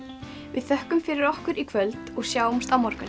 við þökkum fyrir okkur í kvöld og sjáumst á morgun